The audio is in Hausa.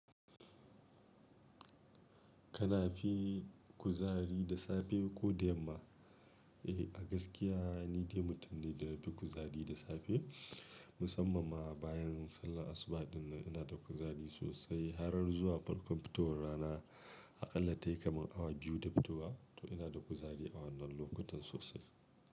Kana fi kuzari da safe ko da yamma? Eh a gaskiya ni dai mutum ne da yafi kuzari da safe musamman ma bayan sallar asubah ɗin nan ina da kuzari sosai har zuwa farkon fitowar rana. A ƙalla tayi kamar hour biyu da fitowa to inada kuzari a wannan lokutan sosai.